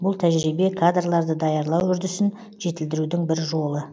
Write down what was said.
бұл тәжірибе кадрларды даярлау үрдісін жетілдірудің бір жолы